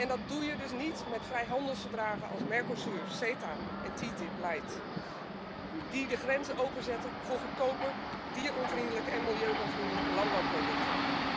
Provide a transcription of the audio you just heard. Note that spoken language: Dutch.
Dat doe je niet met vrijhandelsverdragen als Mercosur, CETA en TTIP light, die de grenzen openzetten voor goedkope, dieronvriendelijke en milieuonvriendelijke landbouwproducten.